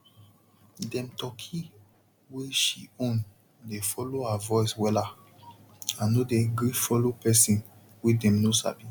dem turkey wey she own dey follow her voice wella and no dey gree follow person wey dem know sabi